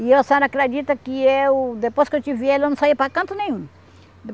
E a senhora acredita que eu, depois que eu tive ele, eu não saí para canto nenhum.